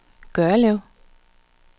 Gørlev